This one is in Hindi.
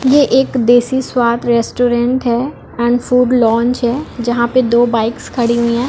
ये एक देशी स्वाद रेस्टोरेंट है एंड फ़ूड लाउन्ज है जहाँ पे दो बाइक्स खड़ी हुई है।